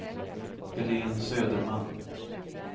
Helene Söderman